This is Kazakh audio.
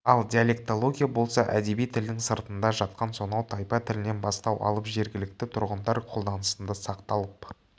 ал диалектология болса әдеби тілдің сыртында жатқан сонау тайпа тілінен бастау алып жергілікті тұрғындар қолданысында сақталып